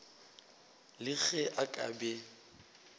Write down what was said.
le ge a ka be